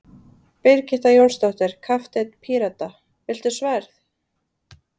Birgitta Jónsdóttir, kapteinn Pírata: Viltu sverð?